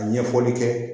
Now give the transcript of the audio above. Ka ɲɛfɔli kɛ